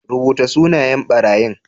Rubuta sunayen ɓarayin